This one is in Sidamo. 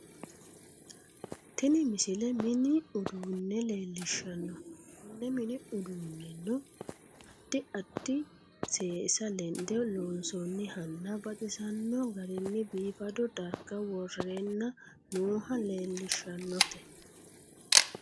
tini misile mini uduunne leellishshanno konne mini uduunnenon addi addi seesa lende loonsoonnihanna baxisanno garinni biifado darga worreenna nooha leellishshannote